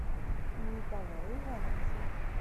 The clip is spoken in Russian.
николаю ивановичу